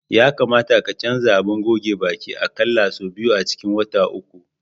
Ya kamata ka canza abin goge baki a ƙalla sau biyu a cikin wata uku.